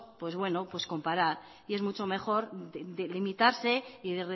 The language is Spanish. comparar y es mucho mejor limitarse y